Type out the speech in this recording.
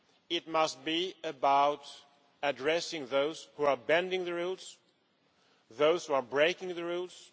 It must be about addressing those who are bending the rules and those who are breaking the rules.